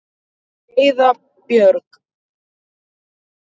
Heiða Björg.